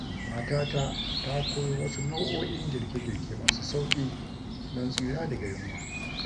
Matata ta koyo wasu nau'o'in girke-girke masu sauƙi don tsira daga yunwa.